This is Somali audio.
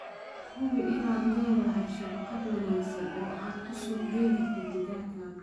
Hubi inaad leedahay shabakad wanaagsan oo aad ku suuq gayn karto digaaggaaga.